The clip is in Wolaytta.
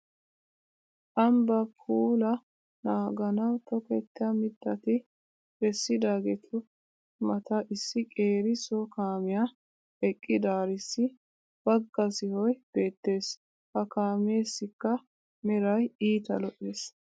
Ambbaa puulaa naaganawu tokkettiya mittati bessidaageetu mata issi qeeri so kaamiya eqqidaarissi bagga sohoy beettes. Ha kaameessikka meray iita lo'es.